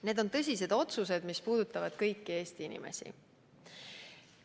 Need on tõsised otsused, mis puudutavad kõiki Eesti inimesi.